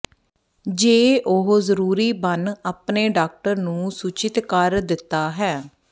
ਜੇ ਉਹ ਜ਼ਰੂਰੀ ਬਣ ਆਪਣੇ ਡਾਕਟਰ ਨੂੰ ਸੂਚਿਤ ਕਰ ਦਿੱਤਾ ਹੈ